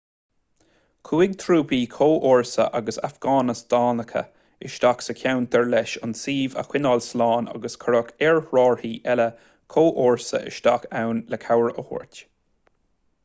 chuaigh trúpaí comhfhórsa agus afganastánacha isteach sa cheantar leis an suíomh a choinneáil slán agus cuireadh aerárthaí eile comhfhórsa isteach ann le cabhair a thabhairt